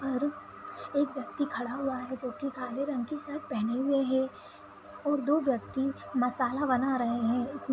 और एक व्यक्ति खड़ा हुआ है जो की काले रंग की सर्ट पहने हुए है और दो व्यक्ति मसाला बना रहे हैं। इस --